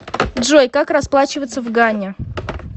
джой как расплачиваться в гане